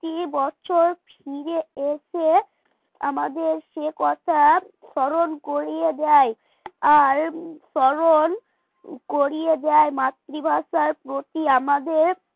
এবছর ফিরে এসে আমাদের সে কথা স্মরণ করিয়ে দেয় আর স্মরণ করিয়ে দেয় মাতৃভাষার প্রতি আমাদের